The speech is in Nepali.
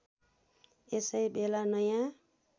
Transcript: यसै बेला नयाँ